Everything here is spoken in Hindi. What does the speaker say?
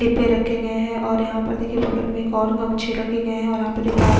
डिब्बे रखे गए है और यहाँ पर देखिए बगल में एक और गमछे लगे गए है और यहाँ पे एक आ--